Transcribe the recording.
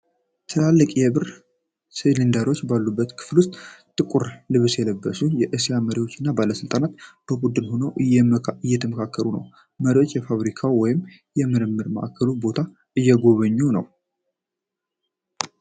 ትላልቅ የብር ሲሊንደሮች ባሉበት ክፍል ውስጥ ጥቁር ልብስ የለበሱ የእስያ መሪዎች እና ባለስልጣናት በቡድን ሆነው እየተመካከሩ ነው። መሪው የፋብሪካውን ወይም የምርምር ማዕከሉን ቦታ እየጎበኘ ነው።